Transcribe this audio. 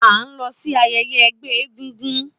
A n lọ si ayẹyẹ ẹgbẹ egúngún